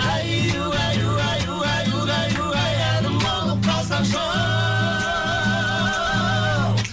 әй угай угай угай угай угай әнім бол қалсаңшы оу